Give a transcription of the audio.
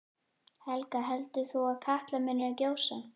Helga: Heldur þú að Katla muni gjósa?